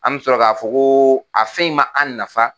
An bɛ sɔrɔ k'a fɔ ko a fɛn in ma an nafa